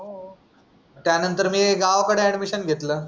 त्या नंतर मी गावाकडे अॅडमिशन घेतलं.